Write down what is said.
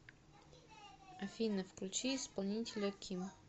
афина включи исполнителя ким